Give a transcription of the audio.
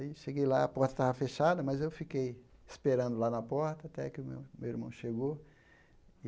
Aí cheguei lá, a porta estava fechada, mas eu fiquei esperando lá na porta até que o meu irmão meu irmão chegou. e